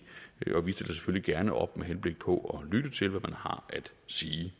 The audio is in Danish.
og vi stiller selvfølgelig gerne op med henblik på at lytte til hvad man har at sige